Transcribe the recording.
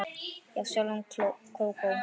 Já, sjálf Kókó